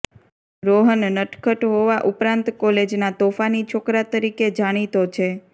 રોહન નટખટ હોવા ઉપરાંત કોલેજના તોફાની છોકરા તરીકે જાણીતો છે